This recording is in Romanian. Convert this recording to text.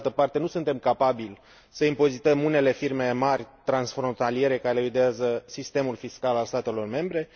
Pe de altă parte, nu suntem capabili să impozităm unele firme mari, transfrontaliere, care eludează sistemul fiscal al statelor membre.